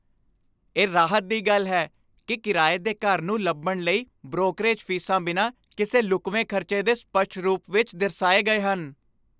ਇਹ ਰਾਹਤ ਦੀ ਗੱਲ ਹੈ ਕਿ ਕਿਰਾਏ ਦੇ ਘਰ ਨੂੰ ਲੱਭਣ ਲਈ ਬ੍ਰੋਕਰੇਜ ਫੀਸਾਂ ਬਿਨਾਂ ਕਿਸੇ ਲੁਕਵੇਂ ਖ਼ਰਚੇ ਦੇ ਸਪਸ਼ਟ ਰੂਪ ਵਿੱਚ ਦਰਸਾਏ ਗਏ ਹਨ।